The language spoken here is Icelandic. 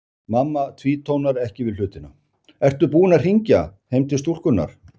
Mamma tvínónar ekki við hlutina: Ertu búin að hringja heim til stúlkunnar?